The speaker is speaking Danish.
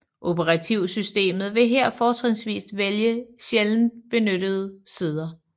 Operativsystemet vil her fortrinsvis vælge sjældent benyttede sider